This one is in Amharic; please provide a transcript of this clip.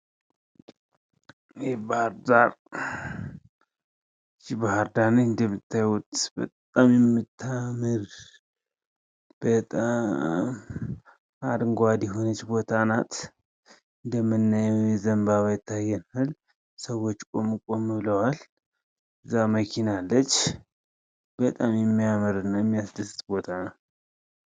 ይሄ ባህርዳር ባህርዳር እንደምታዩት በጣም የምታምር በጣም አረንጓዴ የሆነች ቦታ ናት። እንደምናየው ዘንባባ ይታየናል ሰዎች ቆም ቆም ብለዋል እዛ መኪና አለች። በጣም የሚያምርና የሚያስደስት ቦታ ነው።